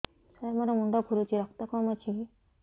ସାର ମୋର ମୁଣ୍ଡ ଘୁରୁଛି ରକ୍ତ କମ ଅଛି କି